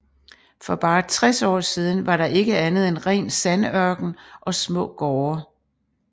For bare 60 år siden var der ikke andet end ren sandørken og små gårde